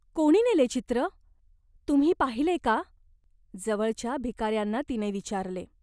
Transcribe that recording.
"कोणी नेले चित्र ? तुम्ही पाहिले का ?" जवळच्या भिकाऱ्यांना तिने विचारले.